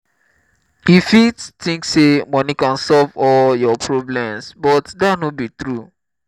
you fit think say money can solve all your problems but dat no be true.